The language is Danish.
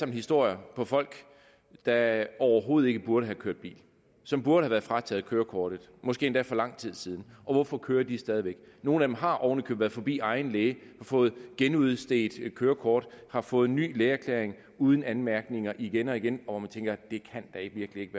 historier om folk der overhovedet ikke burde have kørt bil som burde have været frataget kørekortet måske endda for lang tid siden og hvorfor kører de stadig væk nogle af dem har ovenikøbet været forbi egen læge og fået genudstedt kørekortet har fået ny lægeerklæring uden anmærkninger igen og igen og hvor man tænker at det da virkelig ikke